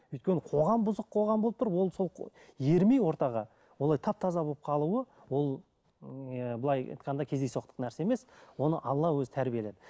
өйткені қоғам бұзық қоғам болып тұр ол сол ермей ортаға олай тап таза болып қалуы ол ыыы былай айтқанда кездейсоқтық нәрсе емес оны алла өзі тәрбиеледі